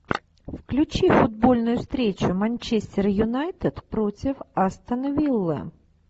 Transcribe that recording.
включи футбольную встречу манчестер юнайтед против астон виллы